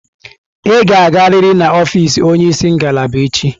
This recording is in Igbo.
Ị ga-agarịrị na ọfịz onye isi ngalaba echi!